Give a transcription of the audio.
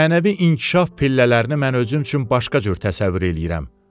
Mənəvi inkişaf pillələrini mən özüm üçün başqa cür təsəvvür eləyirəm.